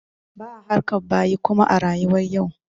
Ba'a harkar bayi kuma a rayuwar yau.